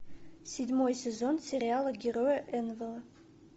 седьмой сезон сериала герои энвелла